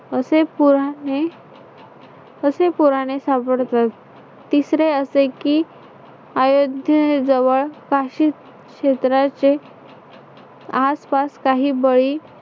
असे पुराने असे पुराने सापडतात. तिसरे असे की अयोध्याजवळ काही क्षेत्राचे आसपास काही बळी